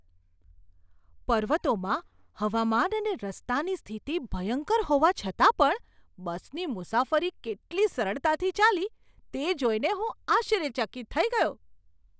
પર્વતોમાં હવામાન અને રસ્તાની સ્થિતિ ભયંકર હોવા છતાં પણ બસની મુસાફરી કેટલી સરળતાથી ચાલી, તે જોઈને હું આશ્ચર્યચકિત થઈ ગયો!